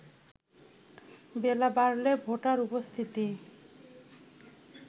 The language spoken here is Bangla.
বেলা বাড়লে ভোটার উপস্থিতি